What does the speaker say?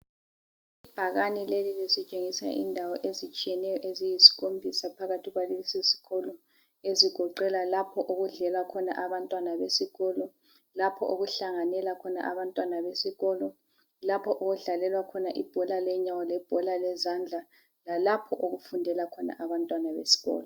Ibhakani leli lisitshengisa indawo ezitshiyeneyo eziyisikhombisa phakathi kwalesi isikolo . Ezigoqela lapho okudlela abantwana besikolo ,lapho okuhlanganela khona abantwana besikolo ,lapho okudlalelwa khona ibhola lenyawo lebhola lezandla ,lalapho okufundela khona abantwana besikolo.